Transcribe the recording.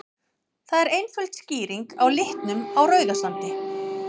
Það er einföld skýring á litnum á Rauðasandi.